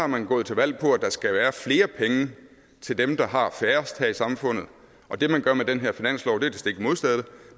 man gået til valg på at der skal være flere penge til dem der har færrest her i samfundet og det man gør med den her finanslov